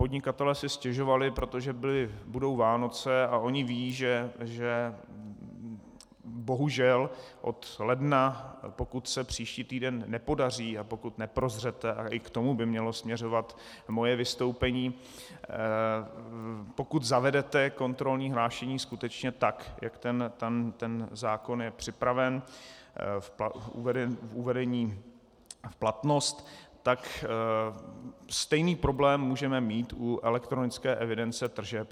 Podnikatelé si stěžovali, protože budou Vánoce a oni vědí, že bohužel od ledna, pokud se příští týden nepodaří, a pokud neprozřete, a i k tomu by mělo směřovat moje vystoupení, pokud zavedete kontrolní hlášení skutečně tak, jak ten zákon je připraven k uvedení v platnost, tak stejný problém můžeme mít u elektronické evidence tržeb.